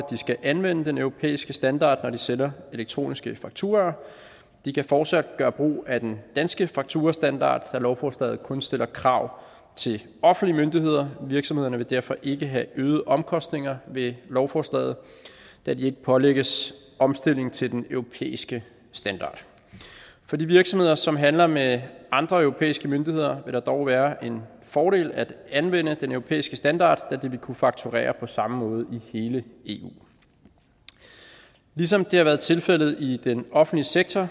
skal anvende den europæiske standard når de sender elektroniske fakturaer de kan fortsat gøre brug af den danske fakturastandard da lovforslaget kun stiller krav til offentlige myndigheder virksomhederne vil derfor ikke have øgede omkostninger ved lovforslaget da de ikke pålægges omstilling til den europæiske standard for de virksomheder som handler med andre europæiske myndigheder vil det dog være en fordel at anvende den europæiske standard da der vil kunne faktureres på samme måde i hele eu ligesom det har været tilfældet i den offentlige sektor